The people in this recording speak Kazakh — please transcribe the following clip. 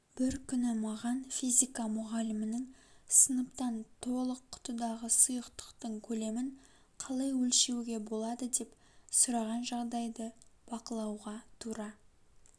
бір күні маған физика мұғалімінің сыныптан толық құтыдағы сұйықтықтың көлемін қалай өлшеуге болады деп сұраған жағдайды бақылауға тура